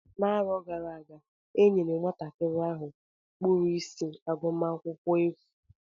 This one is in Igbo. N'arọ gara aga e nyere nwatakịrị ahụ kpụrụ isi agụmakwụkwọ efu.